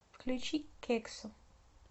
включи кексу